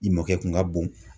I mɔkɛ kun ka bon.